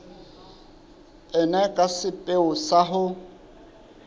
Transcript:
ena ka sepheo sa ho